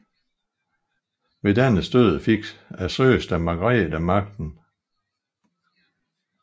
Ved dennes død fik søsteren Margrete magten